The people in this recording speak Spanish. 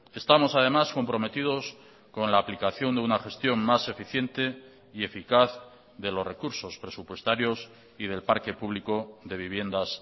estamos además comprometidos con la aplicación de una gestión más eficiente y eficaz de los recursos presupuestarios y del parque público de viviendas